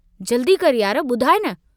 जल्दी कर यार बुधाइ न।